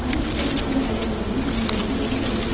அனைத்து தொழிற்சங்க தலைவர்களின் உணர்வையும் வெளி படுத்தும்